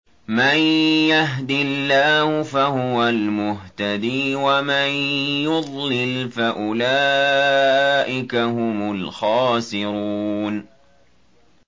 مَن يَهْدِ اللَّهُ فَهُوَ الْمُهْتَدِي ۖ وَمَن يُضْلِلْ فَأُولَٰئِكَ هُمُ الْخَاسِرُونَ